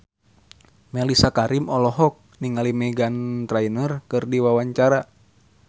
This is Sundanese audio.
Mellisa Karim olohok ningali Meghan Trainor keur diwawancara